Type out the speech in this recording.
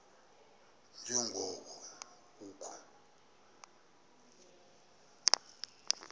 nje ngoko kukho